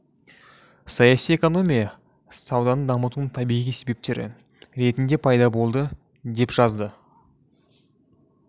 саяси экономия сауданы дамытудың табиғи себептері ретінде пайда болды деп жазды